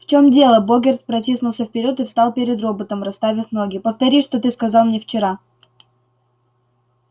в чём дело богерт протиснулся вперёд и встал перед роботом расставив ноги повтори что ты сказал мне вчера